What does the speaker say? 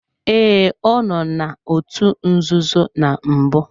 Ee, ọ nọ n'otu nzuzo na mbụ.